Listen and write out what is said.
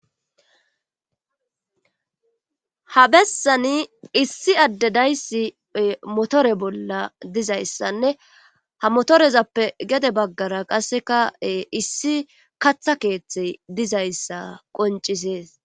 ha bessani issi adde dayssi motore bolla dizayssanne ha motorezappe gede baggara qassekae issi katha keeththe dizayssa qoncisees